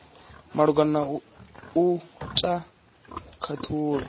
malugana na u ta khathulo